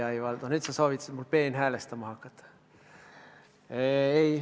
Ai-ai, Valdo, nüüd sa soovitasid mul peenhäälestama hakata.